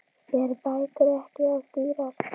Eru bækur ekki of dýrar?